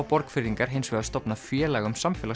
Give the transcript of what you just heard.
Borgfirðingar hins vegar stofnað félag um